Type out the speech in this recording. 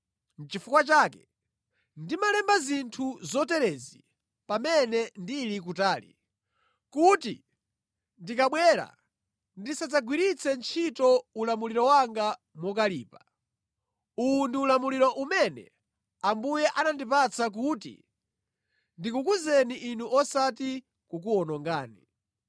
Nʼchifukwa chake ndimalemba zinthu zoterezi pamene ndili kutali, kuti ndikabwera ndisadzagwiritse ntchito ulamuliro wanga mokalipa, uwu ndi ulamuliro umene Ambuye anandipatsa kuti ndikukuzeni inu osati kukuwonongani.